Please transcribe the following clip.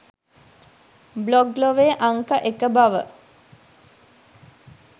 blog ලොවේ අංක එක බව